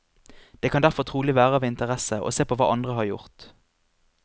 Det kan derfor trolig være av interesse å se på hva andre har gjort.